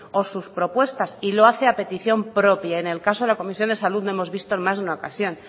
o sus propuestas y lo hace a petición propia en el caso de la comisión de salud lo hemos visto en más de una ocasión